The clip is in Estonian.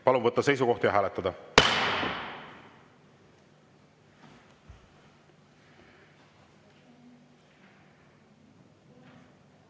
Palun võtta seisukoht ja hääletada!